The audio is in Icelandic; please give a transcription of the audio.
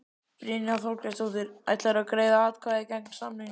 Brynja Þorgeirsdóttir: Ætlarðu að greiða atkvæði gegn samningnum?